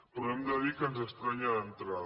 però hem de dir que ens estranya d’entrada